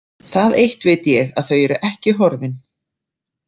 Það eitt veit ég að þau eru ekki horfin.